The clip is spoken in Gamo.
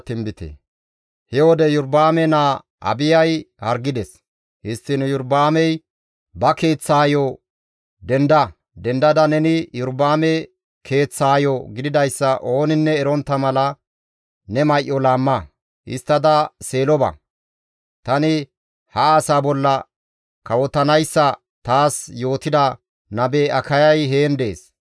Histtiin Iyorba7aamey ba keeththaayo, «Denda; dendada neni Iyorba7aame keeththaayo gididayssa ooninne erontta mala, ne may7o laamma; histtada Seelo ba. Tani ha asaa bolla kawotanayssa taas yootida nabe Akayay heen dees.